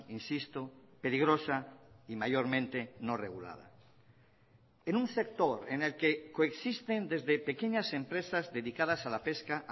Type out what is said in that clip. insisto peligrosa y mayormente no regulada en un sector en el que coexisten desde pequeñas empresas dedicadas a la pesca